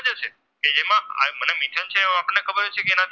આપણને ખબર જ છે કે એના